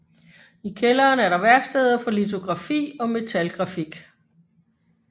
I kælderen er der værksteder for litografi og metalgrafik